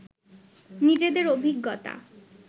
নিজেদের অভিজ্ঞতা